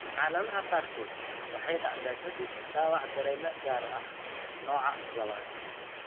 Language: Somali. Xaaladaha qaarkood, waxay dhacdaa ka dib dhaawac dareeme gaar ah (Nooca II).